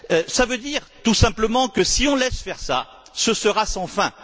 Cela veut dire tout simplement que, si on laisse faire ça, ce sera sans fin.